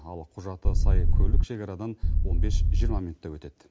ал құжаты сай көлік шекарадан он бес жиырма минутта өтеді